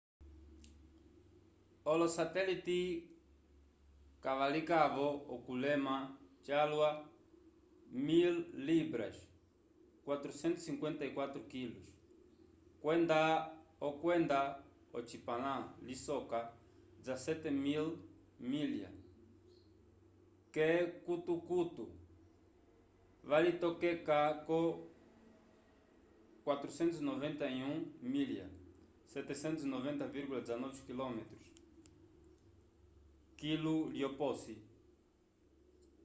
olosatelite kavalikavo okulema calwa 1.000 libras 454 kg kwenda okwenda ocipãla lisoka 17.500 milya k’ekukutu 163,52 km/h valitokeka ko 491 milya 790,19km kilu lyoposi